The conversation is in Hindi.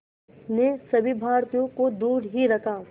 ने सभी भारतीयों को दूर ही रखा